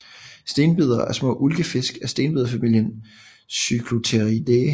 Stenbidere er små ulkefisk af stenbiderfamilien Cyclopteridae